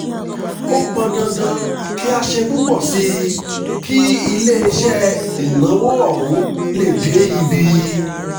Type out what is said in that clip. ó pọn dandan kí a ṣe púpọ̀ sí i kí iléeṣẹ́ ìnáwó ọ̀hún lè dé ibi